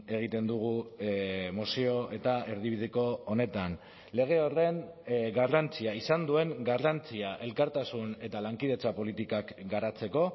egiten dugu mozio eta erdibideko honetan lege horren garrantzia izan duen garrantzia elkartasun eta lankidetza politikak garatzeko